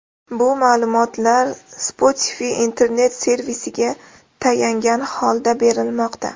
Bu ma’lumotlar Spotify internet-servisiga tayangan holda berilmoqda.